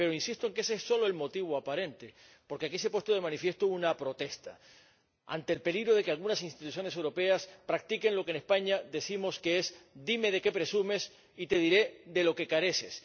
Pero insisto en que ese es solo el motivo aparente, porque aquí se ha puesto de manifiesto una protesta, ante el peligro de que algunas instituciones europeas practiquen lo que en España decimos que es dime de qué presumes y te diré de lo que careces.